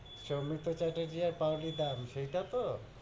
সৌমিত্র চ্যাটার্জি আর পাওলি দাম, সেইটা তো?